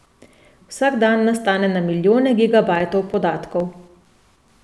Vsak dan nastane na milijone gigabajtov podatkov.